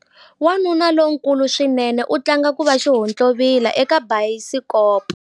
Wanuna lonkulu swinene u tlanga ku va xihontlovila eka bayisikopo.